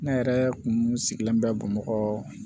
Ne yɛrɛ kun sigilen bɛ bamakɔ